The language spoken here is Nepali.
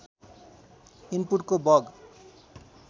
इन्पुटको बग